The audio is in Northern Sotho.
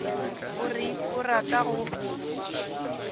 o reng o rata go